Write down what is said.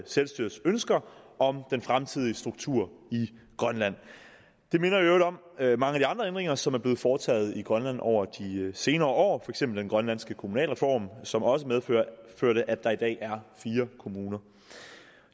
selvstyrets ønsker om den fremtidige struktur i grønland det minder i øvrigt om mange af de andre ændringer som er blevet foretaget i grønland over de senere år eksempel den grønlandske kommunalreform som også medførte at der i dag er fire kommuner